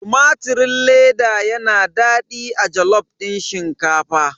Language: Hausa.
Tumatirin leda yana daɗi a jalof din shinkafa.